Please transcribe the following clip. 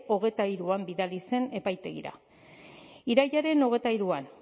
hogeita hiruan bidali zen epaitegira irailaren hogeita hiruan